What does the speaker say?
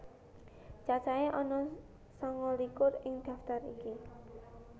Cacahé ana sanga likur ing daftar iki